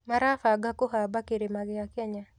Marabanga kũhamba kĩrĩma gĩa Kenya